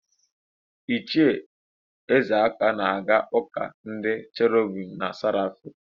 Ichie Ezeka na-aga ụ́kà ndị Cherobim na Serafim.